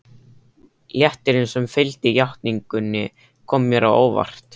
Léttirinn sem fylgdi játningunni kom mér á óvart.